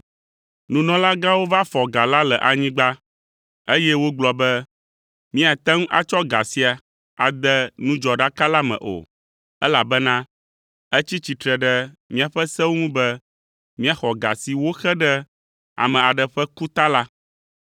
Nunɔlagãwo va fɔ ga la le anyigba, eye wogblɔ be, “Míate ŋu atsɔ ga sia ade nudzɔɖaka la me o, elabena etsi tsitre ɖe míaƒe sewo ŋu be, míaxɔ ga si woxe ɖe ame aɖe ƒe ku ta la.”